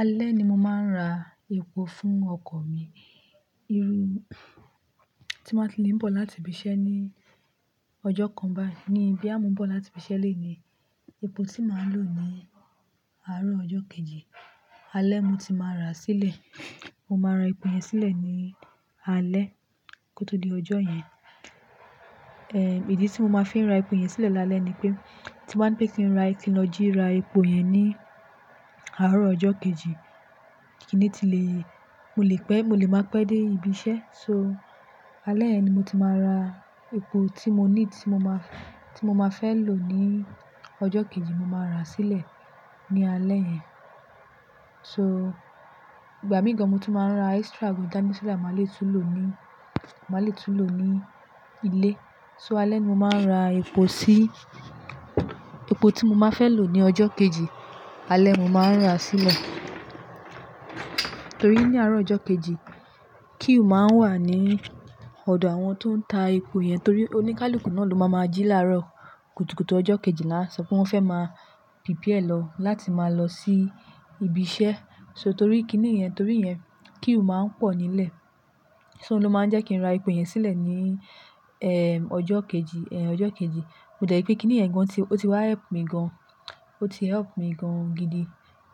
Alẹ́ ni mo máa ń ra epo fún ọkọ̀ mi. Irú tí m bá tí lè ń bọ̀ láti ibi iṣẹ́ ní ọjọ́ kan báyi ní bóyá mò ń bọ̀ láti ibi iṣẹ́ lèní, epo tí máa ń lò ní àárọ̀ ọjọ́ kejì. Alẹ́ mo ti máa rà sílẹ̀. Mo máa ra epo yẹn sílẹ̀ ní alẹ́ kó tó di ọjọ́ yẹn. Ìdí tí mo máa fi ń ra epo yẹn sílẹ̀ lálẹ́ ni pé tí m bá ń gbé kin ra, ki ń lọ jí ra epo yẹn ní àárọ̀ ọjọ́ kejì, kiní ti lè, mo lè pẹ́, mo lè máa pẹ́ dé ibi iṣẹ́. So alẹ́ yen ni mo ti máa ra epo tí mo need, tí mo máa, tí mo máa fẹ́ lò ní ọjọ́ kejì, mo máa rà sílẹ̀ ní alẹ́ yẹn. So igbà mìí gán mo tun máa ń ra extra gan da ni so da má lè tún lò ní, má lè tún lò ní ilé. So alẹ́ ni mo máa ń ra epo sí, epo tí mo máa fẹ́ lò ní ọjọ́ kejì, alẹ́ mo máa ń rà sílẹ̀. Torí ní àárọ̀ ọjọ́ kejì queue máa ń wà ní ọ̀dọ̀ àwọn tó ń ta epo yẹn torí oníkálukú náà ló máa máa jí láàárọ̀. Kùtùkùtù ọjọ́ kejì là ń sọ pé wọ́n fẹ́ máa pípíẹ̀ lọ láti máa lọ sí ibi iṣẹ́. So torí kiní yẹn, torí yẹn queue máa ń pọ̀ nílẹ̀. So ló máa ń jẹ́ kí n ra epo yẹn sílẹ̀ ní, ọjọ́ kejì, ọjọ́ kejì. Mo jẹ̀ rí pé kí nìyẹn gan tí ó ti wá help mi gan, ó ti help mi gan gidi.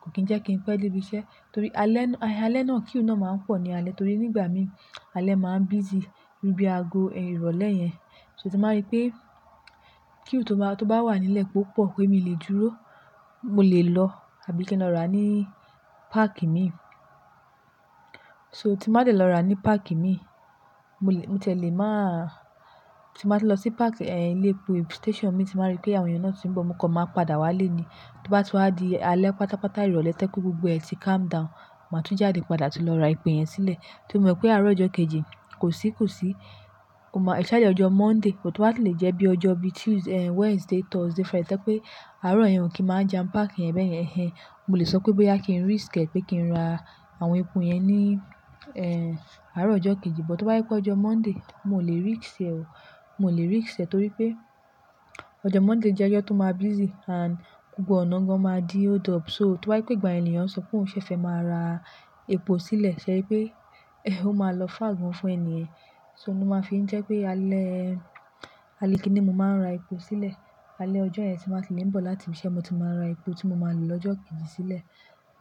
Kò kí ń jẹ́ kí n pẹ́ dé ibi iṣẹ́ torí alẹ́ náà, alẹ́ náà queue náà máa ń pọ̀ ní alẹ́ torí nígbà mí alẹ́ máa ń busy bí i bí aago ìrọ̀lẹ́ yẹn. So tí m bá rí pé queue tó bá, tó bá wà nílẹ̀ pé ó pọ̀ pé mi lè dúró, mo lè lọ àbí kí n lọ rà ní páàkì mi. So tí má dẹ́ lọ rà ní park imi, mo lè, mo tiẹ̀ lè má-- tí n bá ti n lọ sí park, ehn, ilé epo station imi, tí n bá rí pé àwọn ènìyàn náà ti ń bọ̀, mo kan máa padà wá ilé ní. To bá ti wa di alẹ́ pátápátá, ìrọ̀lẹ́ to je pe gbogbo ẹ ti calm down, màá tún jáde padà tun lọ ra epo yẹn sílẹ̀. Tí mo mọ̀ pé àárọ̀ ọjọ́ kejì kò sí kò sí, o ma-- especially ọjọ́ Monday, but to bá si lè jẹ́ bí ọjọ́ bí Tuesday, Wednesday, Thursday Friday to jẹ́ pé àárọ̀ yẹn ò kí n máa jampack yẹn bẹ́yẹn, ehen, mo lè sọ pé bóyá kí n risk ẹ pé kí n ra àwọn epo yẹn ní, ehn, àárọ̀ ọjọ́ kejì. But to ba je pé ọjọ́ Monday, mio ò lè risk ẹ o. Mio ò lè risk ẹ torí pé ọjọ́ Monday jẹ́ ọjọ́ tó máa busy and gbogbo ọ̀nà maa máa di hold up. So tó bá je pé ìgbà ni ènìyàn sọ pé òun ṣẹ fẹ́ máa ra epo sílẹ̀, ṣẹ eri pé, ehn, ó máa lọ far gan fún ènìyẹn. So oun lo máa fi ń jẹ́ pé alẹ́, alẹ́ kiní ni mo máa ń ra epo sílẹ̀. Alẹ́ ọjọ́ yẹn tí n ba ti lè ń bọ̀ láti ibi iṣẹ́, mo ti máa ra epo tí mo máa lò lọ́jọ́ kejì sílẹ̀.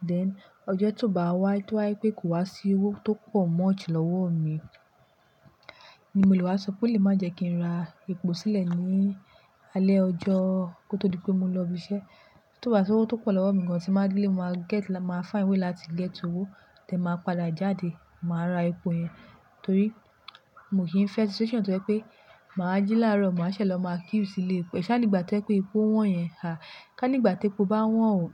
Then ọjọ́ tió bá wá to wá je pé kò wá sí owó tó pọ̀ much lọ́wọ́ mi, ni mo lò wá sọ pé o lè má jẹ́ kí n ra epo sílẹ̀ ní alẹ́ ọjọ́-- kó tó di pé mo lọ ibi iṣẹ́. Tió bá sí owó tó pọ̀ lọ́wọ́ mi gan tí n bá delẹ̀, mo máa get, mo máa find way láti get owó, then màá padà jáde, màá ra epo yẹn torí mio kì í fẹ́ situation tó jẹ́ pé màá jí láàárọ̀, màá ṣẹ̀ lọ máa queue sílé epo. Ká nígbà tó jẹ pé epo wọ́n yẹn, à ká nígbà tí epo bá wọ́n o,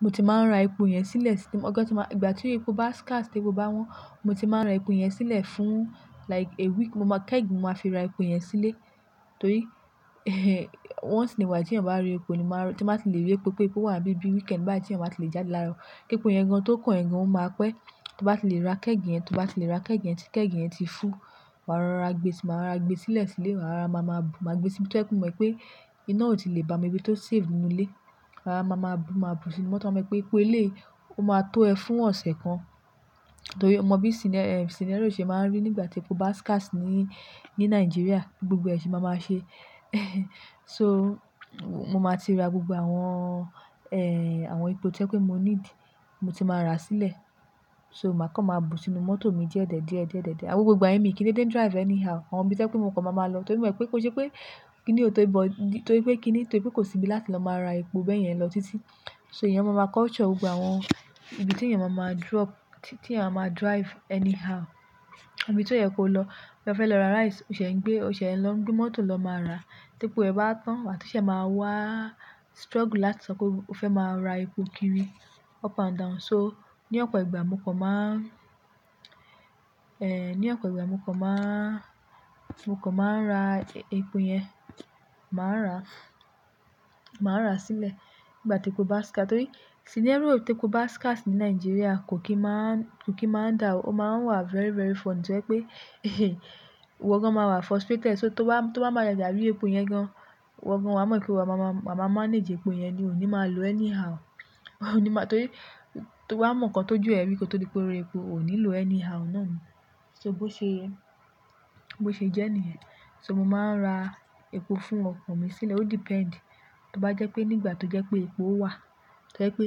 mo ti máa ń ra epo yẹn sílẹ̀ sí, ọjọ́ tí mo, ìgbà tí epo bá scarce, tí epo bá wọ́n, mo ti máa ń ra epo yẹn sílẹ̀ fún like a week. Mo máa-- kẹ́g, ni màá fi ra epo yẹn sílé torí, ehn, once in a while tí eeyan bá rí epo ni máa ra--, tí n bàá ti lè rí epo pé epo wà nibí-- bí weekend báyi ti eeyan o ba ti lè jáde láàárọ̀. Kí epo yẹn gan tó kàn ẹ gan, ó máa pẹ́. Tó bá ti lè ra kẹ́gì yẹn, tó bá ti lè ra kẹ́gì yẹn tí kẹ́gì yẹn ti full, màá rora gbe si, màá ra gbe sílẹ̀ sílé, màá rora ma máa bu, màá gbe síbi tò jẹ pé mọ̀ wipé iná ò tí lè ba-- ibi tó save nínú ilé. Màá rora ma máa bu, màá bu sínú mọ́tò-- waa mọ̀ pé epo eléyi ó máa tó ẹ fún ọ̀sẹ̀ kan torí o mọ bí scenario ṣe máa ń rí nígbà tí epo bá scarce ní, ní Nigeria. Bi gbogbo ẹ ṣe máa máa ṣe. So mo máa ti ra gbogbo àwọn, ehn, àwọn epo tí o jẹ pé mo need, mo ti máa ràa sílẹ̀. So màá kan máa bu sínú mọ́tò mi díẹ̀ díẹ̀ díẹ̀ díẹ̀ díẹ̀. Awon gbogbo igbà yen mío kí n deede drive anyhow. Awon ibí to jẹ pé mo kan máa máa lọ torí mo mọ̀ pé kó n ṣe pé kí ni ò tó-- but, torí pé kí ni, torí pé kò sí ibi láti lọ máa ra epo bẹ́ẹ̀ yẹn lọ títí. So ènìyàn máa ma culture gbogbo àwọn ibi tí ènìyàn máa máa drop, tí ènìyàn máa máa drive anyhow. Ibi tí ó yẹ kó lọ, boya o fẹ́ lọ ra rice, o ṣẹ̀ ń gbé, o ṣẹ̀ ń lọ n gbé mọ́tò lọ máa ra. Tí epo yen bá wa tán waà tun sé máa wá struggle láti sọ pé o fẹ́ máa ra epo kiri up and down. So ní ọ̀pọ̀ ìgbà mo kan máa, ehn, ní ọ̀pọ̀ ìgbà mo kan máa, mo kan máa ra epo yẹn, màá rà, màá rà sílẹ̀ fun ìgbà tí epo bá scarce torí scenario tí epo bá scarce ní Nigeria kò kí n máa ń, kò kí n máa ń da o. Ó máa ń wà very, very funny tó jẹ pé, ehn, ìwọ gan máa wà frustrated. So tó bá, tó bá máa jaja ri epo yẹn gan, ìwọ gan waa mọ̀ pé ìwọ wa máa má, máa ma manage epo yẹn ni. Oo ní máa lò anyhow o. O ní máa, torí tó bá mọ̀ nǹkan tó jù ẹ rí kó tó di pé o rí epo, o ò ní lò anyhow náà ni. So bó ṣe ẹ, bó ṣe jẹ́ níyẹn. So mo máa ń ra epo fún ọkọ̀ mi sílẹ̀. Ó depend. Tó bá jẹ́ pé nígbà tó jẹ́ pé epo wà, to je pé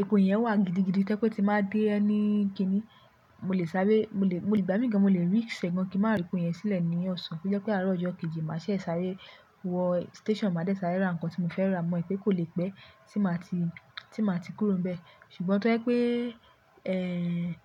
epo yẹn wà gidigidi to jẹ́ pé ti n bá dé any kiní, mo lè sáré, mo lè, mo lè, ìgbà mìíràn gan mo lè risk ẹ gan kí n màá ra epo yẹn sílẹ̀ ní ọ̀sán. To jẹ́ pé àárọ̀ ọjọ́ kejì ni màá ṣẹ̀ sáré wọ station, màá dé ṣáré ra nǹkan tí mo fẹ́ rà. Mo mọ̀ pé kò lè pẹ́ tí màá ti, tí màá ti kúrò níbẹ̀. Ṣùgbọ́n to je pé, ehn.